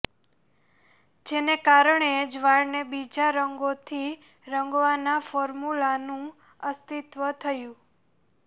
જેને કારણે જ વાળને બીજા રંગોથી રંગવાના ફોર્મૂલાનુ અસ્તિત્વ થયુ